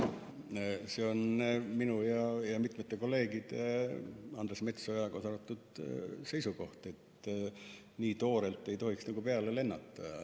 See on minu ja mitmete kolleegide, kaasa arvatud Andres Metsoja, seisukoht, et nii toorelt ei tohiks peale lennata.